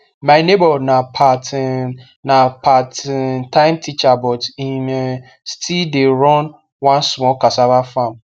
my neighbor na part um na part um time teacher but him um still the run one small casava farm